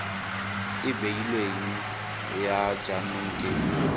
e beilweng ya jaanong ke